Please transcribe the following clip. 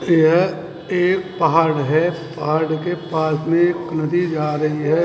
यह एक पहाड़ है पहाड़ के पास में एक नदी जा रही है।